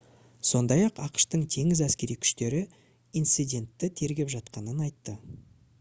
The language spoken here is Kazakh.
сондай-ақ ақш-тың теңіз әскери күштері инцидентті тергеп жатқанын айтты